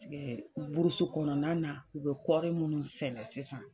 Tigɛɛ burusu kɔɔna na u be kɔri munnu sɛnɛ sisan